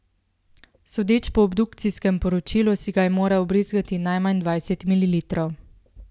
Sodeč po obdukcijskem poročilu si ga je moral vbrizgati najmanj dvajset mililitrov.